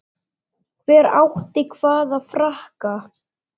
Hver átti hvaða frakka?